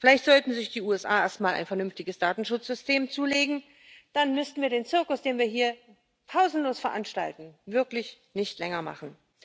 Vielleicht sollten sich die USA erst mal ein vernünftiges Datenschutzsystem zulegen, dann müssten wir den Zirkus, den wir hier pausenlos veranstalten, wirklich nicht länger machen.